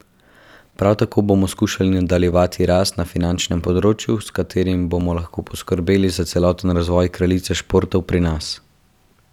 Prav tako bomo skušali nadaljevati rast na finančnem področju, s katerim bomo lahko poskrbeli za celoten razvoj kraljice športov pri nas.